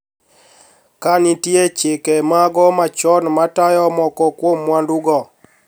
Ka nitie chike mago machon matayo moko kuom mwandugo